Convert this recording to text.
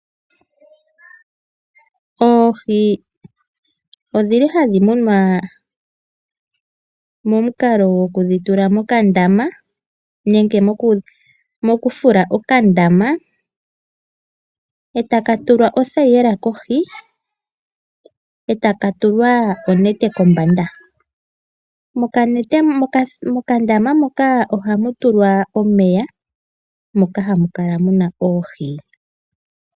Oohi odhili hadhi munwa momukalo gwoku dhitula mokandama nenge mokufula okandama etaka tulwa othayila kohi etaka tulwa onete kombaanda . Mokandama moka ohamu tulwa omeya moka hamu kala muna oohi.